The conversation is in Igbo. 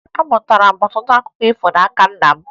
Amụtara m ọtụtụ akụkọ ifo n'aka nna m